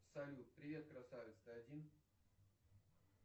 салют привет красавец ты один